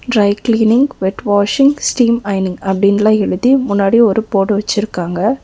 Try cleaning wet washing steam ஐயனிங் அப்படின்னுலா எழுதி முன்னாடி ஒரு ஃபோர்டு வச்சிருக்காங்க.